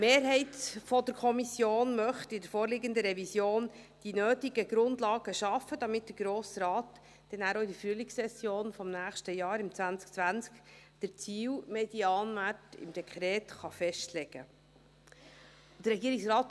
Die Mehrheit der Kommission möchte in der vorliegenden Revision die nötigen Grundlagen schaffen, damit der Grosse Rat in der Frühlingssession des nächsten Jahres, 2020, den Ziel-Medianwert im Dekret konkret festlegen kann.